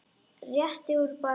Rétti úr bakinu.